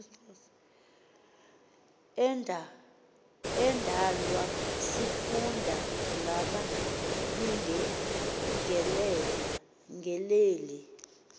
endala sifunda ngababingeleli